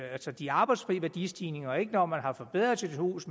altså de arbejdsfrie værdistigninger og ikke når man har forbedret sit hus